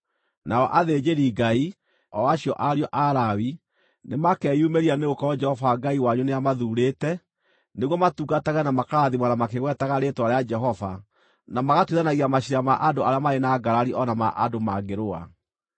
Nao athĩnjĩri-Ngai, o acio ariũ a Lawi, nĩmakeyumĩria nĩgũkorwo Jehova Ngai wanyu nĩamathuurĩte nĩguo matungatage na makarathimana makĩgwetaga rĩĩtwa rĩa Jehova na magatuithanagia maciira ma andũ arĩa marĩ na ngarari o na ma andũ maangĩrũa.